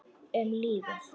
Um lífið.